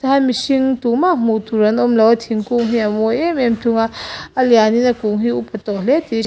mihring tumah hmuh tur an awmlo a thingkung hi a mawi em em thung a a lian in a kum hi a upa tawh hle tih--